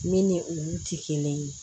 Min ni olu ti kelen ye